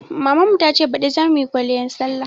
Mamun ta ce baɗi za muyi kwaliyan sallah